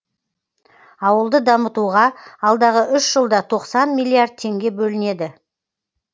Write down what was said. ауылды дамытуға алдағы үш жылда тоқсан миллиард теңге бөлінеді